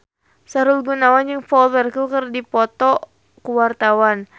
Sahrul Gunawan jeung Paul Walker keur dipoto ku wartawan